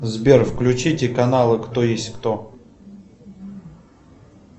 сбер включите каналы кто есть кто